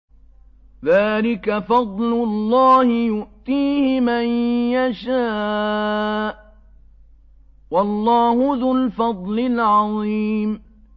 ذَٰلِكَ فَضْلُ اللَّهِ يُؤْتِيهِ مَن يَشَاءُ ۚ وَاللَّهُ ذُو الْفَضْلِ الْعَظِيمِ